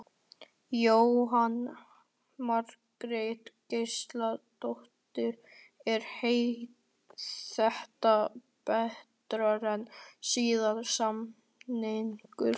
Jóhanna Margrét Gísladóttir: Er þetta betra en síðasti samningur?